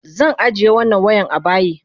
Zan ajiye wannan wayan abayi.